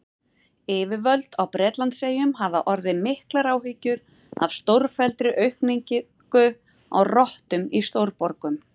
Yfirvöld á Bretlandseyjum hafa orðið miklar áhyggjur af stórfelldri aukningu á rottum í stórborgum.